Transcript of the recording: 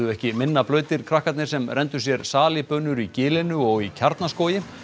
ekki minna blautir krakkarnir sem renndu sér í gilinu og í Kjarnaskógi